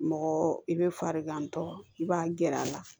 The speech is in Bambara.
Mɔgɔ i bɛ farigantɔ i b'a gɛrɛ a la